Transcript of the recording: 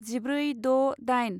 जिब्रै द' दाइन